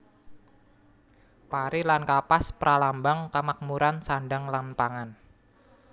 Pari lan Kapas pralambang kamakmuran sandang lan pangan